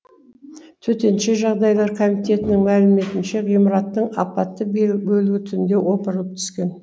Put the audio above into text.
төтенше жағдайлар комитетінің мәліметінше ғимараттың апатты бөлігі түнде опырылып түскен